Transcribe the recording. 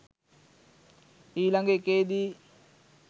ඊලග එකේදී